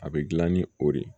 A bɛ dilan ni o de ye